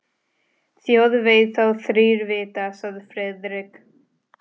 Þjóð veit þá þrír vita sagði Friðrik.